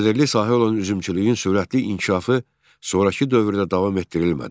Gəlirli sahə olan üzümçülüyün sürətli inkişafı sonrakı dövrdə davam etdirilmədi.